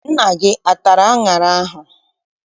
Nna gị atara aṅara ahụ?